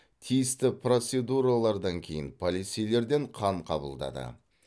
тиісті процедуралардан кейін полицейлерден қан қабылдады